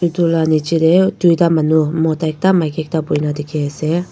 etu la neche tey doita manu mota ekta maki ekta buhina dekhi asey.